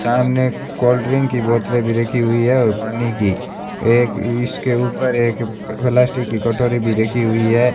सामने cold drink की बोतलें भी रखी हुई है और पानी की एक इसके ऊपर एक प्लास्टिक की कटोरी भी रखी हुई है।